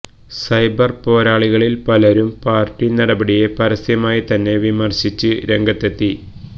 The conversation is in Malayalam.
സൈബര് പോരാളികളില് പലരും പാര്ട്ടി നടപടിയെ പരസ്യമായി തന്നെ വിമര്ശിച്ച് രംഗത്തെത്തി